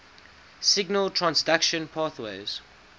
signal transduction pathways